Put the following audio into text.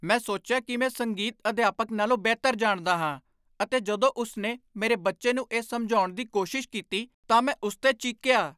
ਮੈਂ ਸੋਚਿਆ ਕਿ ਮੈਂ ਸੰਗੀਤ ਅਧਿਆਪਕ ਨਾਲੋਂ ਬਿਹਤਰ ਜਾਣਦਾ ਹਾਂ ਅਤੇ ਜਦੋਂ ਉਸ ਨੇ ਮੇਰੇ ਬੱਚੇ ਨੂੰ ਇਹ ਸਮਝਾਉਣ ਦੀ ਕੋਸ਼ਿਸ਼ ਕੀਤੀ ਤਾਂ ਮੈਂ ਉਸ 'ਤੇ ਚੀਕਿਆ।